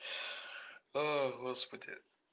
а господи